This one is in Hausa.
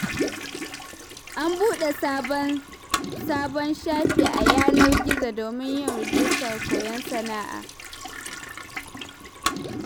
An buɗe sabon sabon shafi a yanar gizo domin yin rijistar koyon sana'o'i.